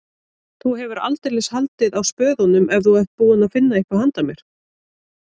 Þú hefur aldeilis haldið á spöðunum ef þú ert búinn að finna eitthvað handa mér